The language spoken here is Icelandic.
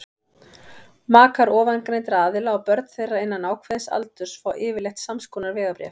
makar ofangreindra aðila og börn þeirra innan ákveðins aldurs fá yfirleitt samskonar vegabréf